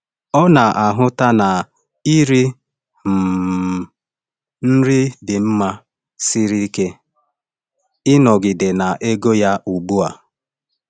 Ọ na-ahụta na iri um nri dị mma siri ike ịnọgide na ego ya ugbu a.